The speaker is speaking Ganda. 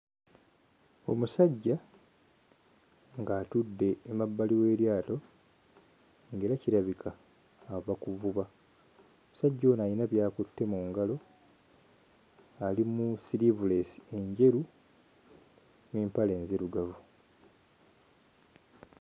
Omusajja ng'atudde emabbali w'eryato ng'era kirabika ava kuvuba ssajja ono ayina by'akutte mu ngalo ali mu siriivuleesi enjeru n'empale nzirugavu.